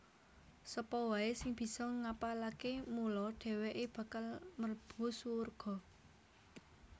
Sapa waé sing bisa ngapalaké mula dhèwèké bakal mlebu surga